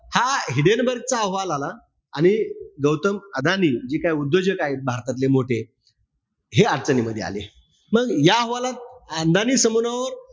हा हिडेनबर्ग चा अहवाल आला. आणि गौतम अदानी, जे काय उद्योजक आहे भारतातले मोठे, हे अडचणीमध्ये आले. मग या अहवालात अदानी